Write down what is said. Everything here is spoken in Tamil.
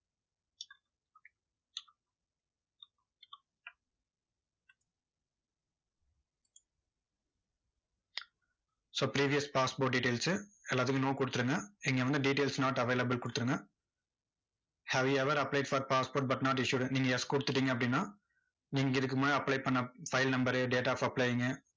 so previous passport details எல்லாத்துக்கும் no கொடுத்துருங்க. இங்க வந்து details not available கொடுத்துருங்க. have you ever applied for passport but not issued நீங்க yes கொடுத்துட்டீங்க அப்படின்னா, நீங்க இதுக்கு முன்னாடி apply பண்ண file number date of applying